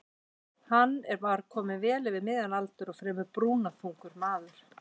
Hann var kominn vel yfir miðjan aldur og fremur brúnaþungur maður.